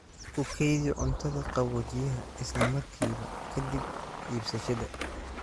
Ku kaydi cuntada qaboojiyaha isla markiiba ka dib iibsashada.